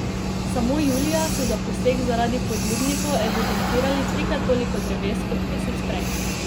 Samo julija so za posek zaradi podlubnikov evidentirali trikrat toliko dreves kot mesec prej.